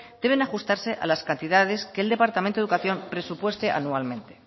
deben ajustarse a las cantidades que el departamento de educación presupueste anualmente